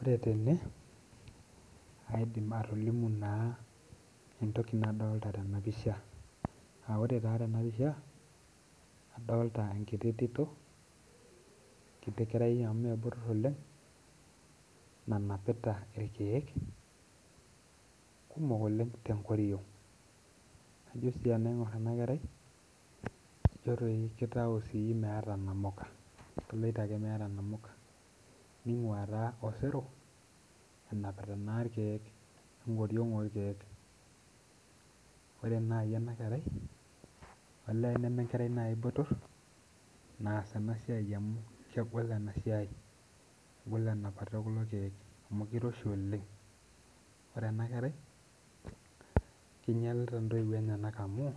Ore tene aidim atolimu na entoki nadolita tenapisha a ore ta tenapisha adolta enkiti tito enkiti kerai amu mebotor oleng nanapita irkiek kumok oleng tenkoriong na ijo tanaingur enakera na kitau meeta namuka keloito ake meeta namuka ningua na osero enapita ake irkiek enkoriong orkiek ore nai enarea elee nemenkerai nai botor naas enasia amu kegol enapata orkiek amu kiroshi Oleng kinyalita ntoiwuo enyenak amu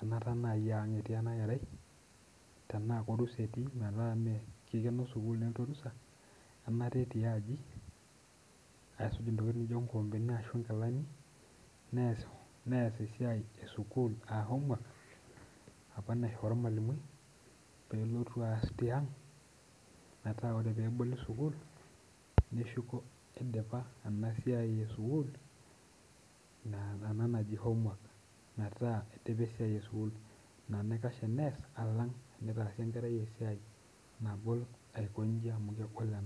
anata aa ang etii tenemut a kikeno orusa anata etii aji aisuj nkikombeni neas esiaia esukul aa homework apa naisho ormalimui pelotu aas tiang metaa ore peboli sukul neshuko idipa enasiai esukul metaa idipa esiaia esukul ina naikash teneas alang tenitaasi enkerai esiai nagol amu kegol ena.